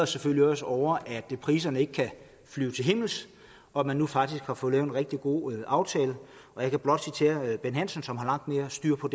selvfølgelig også over at priserne ikke kan flyve til himmels og at man nu faktisk har fået lavet en rigtig god aftale og jeg kan blot nævne bent hansen som har langt mere styr på